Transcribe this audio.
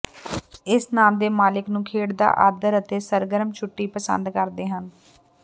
ਇਸ ਨਾਮ ਦੇ ਮਾਲਕ ਨੂੰ ਖੇਡ ਦਾ ਆਦਰ ਅਤੇ ਸਰਗਰਮ ਛੁੱਟੀ ਪਸੰਦ ਕਰਦੇ ਹਨ